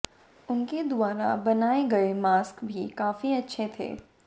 उनके द्वारा बनाए गए मास्क भी काफी अच्छे थे